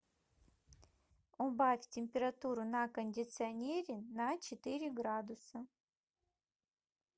убавь температуру на кондиционере на четыре градуса